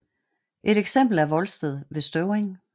Et eksempel er Volsted ved Støvring